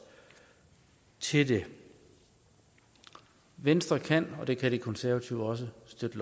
til det venstre kan og det kan de konservative også støtte